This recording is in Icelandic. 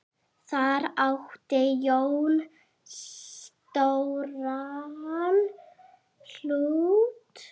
Þar átti Jón stóran hlut.